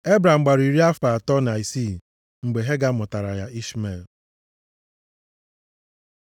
Ebram gbara iri afọ asatọ na isii mgbe Hega mụtaara ya Ishmel.